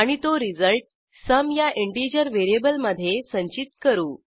आणि तो result sum या इंटिजर व्हेरिएबलमधे संचित करू